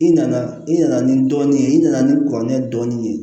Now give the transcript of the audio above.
I nana i nana ni dɔɔnin ye i nana ni kɔrɔkɛ ye dɔɔnin